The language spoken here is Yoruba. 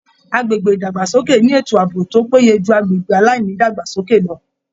Agbègbè ìdàgbàsókè ni ètò ààbò tó péye ju agbègbè aláìnídàgbàsókè lọ